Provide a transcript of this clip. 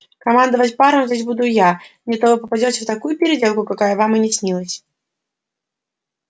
командовать паром здесь буду я не то вы попадёте в такую переделку какая вам и не снилась